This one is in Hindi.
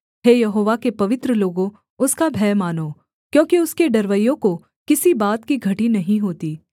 हे यहोवा के पवित्र लोगों उसका भय मानो क्योंकि उसके डरवैयों को किसी बात की घटी नहीं होती